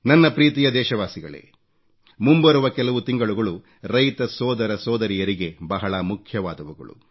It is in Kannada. ನನ್ನ ಪ್ರೀತಿಯ ದೇಶವಾಸಿಗಳೇ ಮುಂಬರುವ ಕೆಲವು ತಿಂಗಳುಗಳು ರೈತ ಸೋದರ ಸೋದರಿಯರಿಗೆ ಬಹಳ ಮುಖ್ಯವಾದವುಗಳು